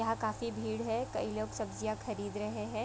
यहाँ काफी भीड़ है कई लोग सब्जियां खरीद रहे है।